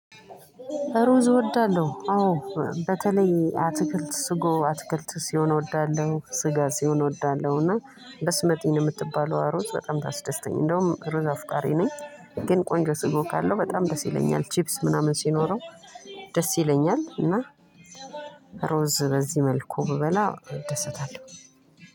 ሩዝ እወዳለሁ አዎ በተለይ አትክልት ስጎ አትክልት ሲሆን እወዳለሁ ስጋ ሲሆን እወዳለሁና በስመጥኝ የምትባለው ሩዝ በጣም ታስደስተኝ እንደውም ሩዝ አፍቃሪ ነኝ ግን ቆንጆ ስጎ ካለው በጣም ደስ ይለኛል ቺፕስ ምናምን ሲኖረው ደስ ይለኛል እና ሩዝ በዚህ መልኩ ብበላ እደሰታለው።